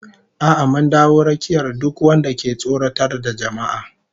A'a mun dawo rakiyar duk wanda ke tsoratar da jama'a